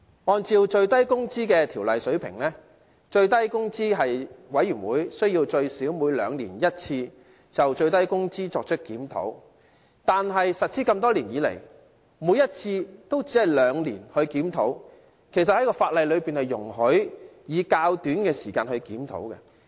按照《最低工資條例》的規定，最低工資委員會須最少每兩年一次就最低工資作出檢討，但實施多年以來，每次都只是兩年檢討一次，而其實法例容許在較短時間就進行檢討。